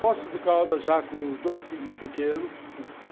Poços de Caldas já com os dois filhos pequenos.